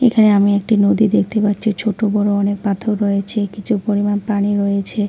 এখানে আমি একটি নদী দেখতে পাচ্ছি ছোট বড় অনেক পাথর রয়েছে কিছু পরিমাণ পানি রয়েছে।